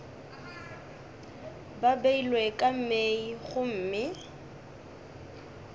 ba beilwe ka mei gomme